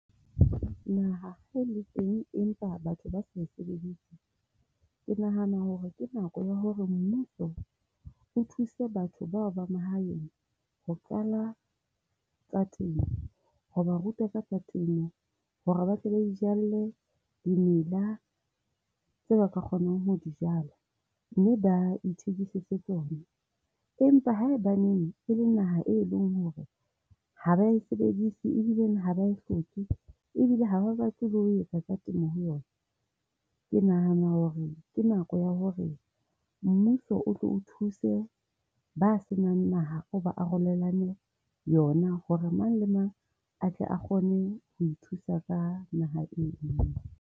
Naha ha e le teng empa batho ba sa e sebedise, ke nahana hore ke nako ya hore mmuso o thuse batho bao ba mahaeng ho qala tsa temo, ho ba ruta ka tsa temo. Hore ba tle ba itjalle dimela tseo ba ka kgonang ho di jala, mme ba ithekisetse tsona. Empa haebaneng e le naha e leng hore ha ba sebedise, e bile ha ba hloke, ebile ha batle ho etsa ka tsa temo ho yona. Ke nahana hore ke nako ya hore mmuso o tlo o thuse ba senang naha, o ba arolelane yona hore mang le mang a tle a kgone ho thusa ka naha eo.